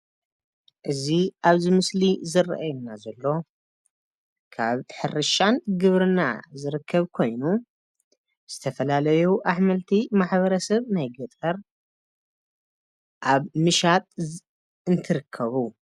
እዚ ኣብዚ ምስሊ ዝረኣየና ዘሎ ካብ ሕርሻን ግብርናን ዝርከብ ኮይኑ ዝተፈላላዩ ኣሕምልትቲ ማሕበረሰብ ናይ ገጠር ኣብ ምሻጥ እንትርከቡ ።